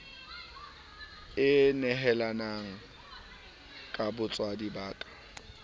e nehelang ka botswadi ba